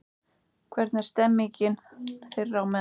Hvernig er stemmingin þeirra á meðal?